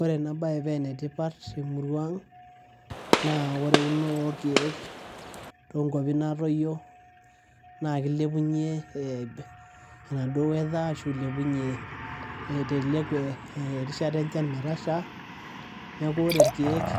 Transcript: Ore ena baye pee ene tipat te murua aang' naa ore eunore orkeek too nkuapi naatoyio naake ilepunye ee enaduo weather ashu ilepunye iteleku erishata enchan metasha. Neeku ore irkeek